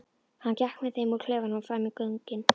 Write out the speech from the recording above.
Hann gekk með þeim úr klefanum og fram í göngin.